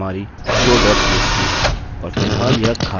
और फिलहाल यह खाली है